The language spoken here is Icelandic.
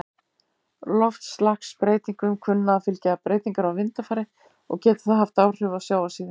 Loftslagsbreytingum kunna að fylgja breytingar á vindafari, og getur það haft áhrif á sjávarstöðu.